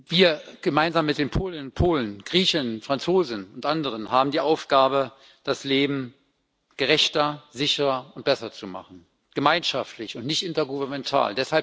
Wir gemeinsam mit den Polen, Griechen, Franzosen und anderen haben die Aufgabe, das Leben gerechter, sicherer und besser zu machen gemeinschaftlich und nicht intergouvernemental.